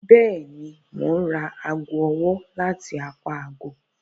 Bẹẹni, Mo n ra aago ọwọ lati apá ààgo